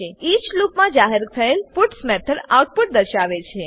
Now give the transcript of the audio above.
inch લૂપમાં જાહેર થયેલ પુટ્સ મેથડ આઉટપુટ દર્શાવે છે